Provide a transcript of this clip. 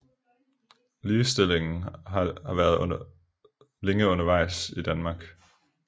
Ligestillingen har været længe undervejs i Danmark